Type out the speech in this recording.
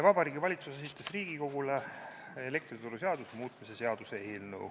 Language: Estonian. Vabariigi Valitsus on esitanud Riigikogule elektrituruseaduse muutmise seaduse eelnõu.